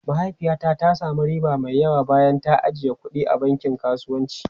Mahaifiyata ta sami riba mai yawa bayan ta yi ajiyar kuɗi a bankin kasuwanci.